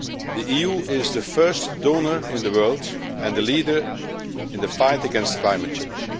The EU is the first donor in the world and a leader in the fight against climate change.